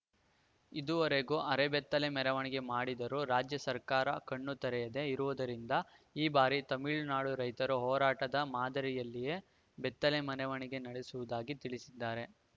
ಇದುವರೆಗೂ ಅರೆಬೆತ್ತಲೆ ಮೆರವಣಿಗೆ ಮಾಡಿದರೂ ರಾಜ್ಯ ಸರ್ಕಾರ ಕಣ್ಣು ತೆರೆಯದೇ ಇರುವುದರಿಂದ ಈ ಬಾರಿ ತಮಿಳುನಾಡು ರೈತರ ಹೋರಾಟದ ಮಾದರಿಯಲ್ಲಿಯೇ ಬೆತ್ತಲೆ ಮೆನೆವಣಿಗೆ ನಡೆಸುವುದಾಗಿ ತಿಳಿಸಿದ್ದಾರೆ